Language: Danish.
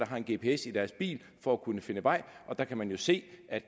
har en gps i deres bil for at kunne finde vej og der kan man jo se at